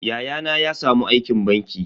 Yayana ya samu aikin banki.